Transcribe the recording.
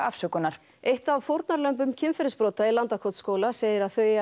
afsökunar eitt af fórnarlömbum kynferðisbrota í Landakotsskóla segir að þau